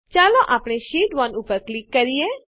ચાલો આપણે શીટ1 ઉપર ક્લિક કરીએ